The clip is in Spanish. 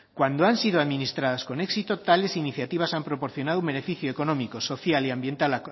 cuando han sido administradas con éxito tales iniciativas han proporcionado un beneficio económico social y ambiental